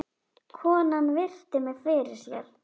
Konan virti mig fyrir sér.